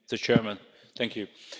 Tisztelt képviselők!